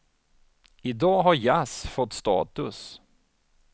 I dag har jazz fått status.